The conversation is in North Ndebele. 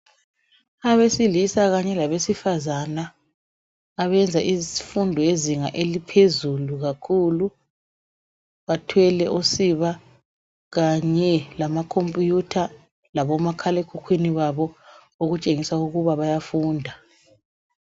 Abesilisa kanye labesifazana abenza izifundo yezinga eliphezulu kakhulu bathwele usiba kanye lamakhomphiyutha labomakhala ekhukwini babo okutshengisa ukuba bayafunda.